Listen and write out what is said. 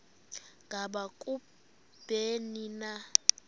ngaba kubleni na